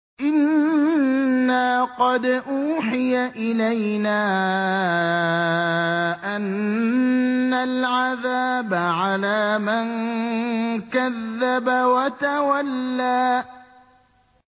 إِنَّا قَدْ أُوحِيَ إِلَيْنَا أَنَّ الْعَذَابَ عَلَىٰ مَن كَذَّبَ وَتَوَلَّىٰ